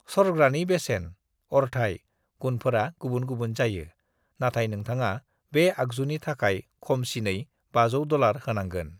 "सरग्रानि बेसेन, अरथाइ, गुनफोरा गुबुन गुबुन जायो, नाथाइ नोंथाङा बे आगजुनि थाखाय खमसिनै 500 डलार होनांगोन।"